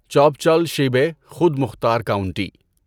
چاپچال شیبے خود مختار کاونٹی